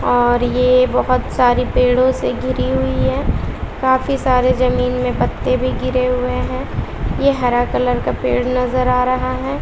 और ये बहोत सारी पेड़ों से घीरी हुई है काफी सारे जमीन में पत्ते भी गिरे हुए हैं ये हरा कलर का पेड़ नजर आ रहा है।